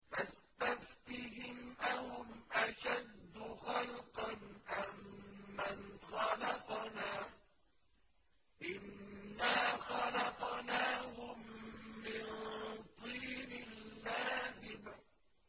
فَاسْتَفْتِهِمْ أَهُمْ أَشَدُّ خَلْقًا أَم مَّنْ خَلَقْنَا ۚ إِنَّا خَلَقْنَاهُم مِّن طِينٍ لَّازِبٍ